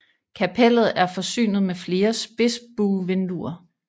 Kapellet er forsynet med flere spidsbuevinduer